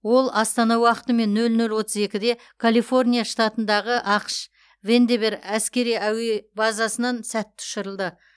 ол астана уақытымен нөл нөл отыз екіде калифорния штатындағы ақш вандеберг әскери әуе базасынан сәтті ұшырылды